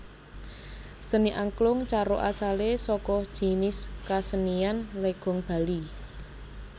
Seni Angklung Caruk asale saka jinis kasenian Legong Bali